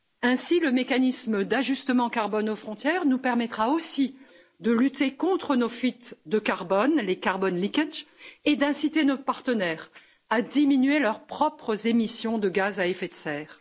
Ainsi, le mécanisme d'ajustement carbone aux frontières nous permettra aussi de lutter contre nos fuites de carbone, les carbon leakages et d'inciter nos partenaires à diminuer leurs propres émissions de gaz à effet de serre.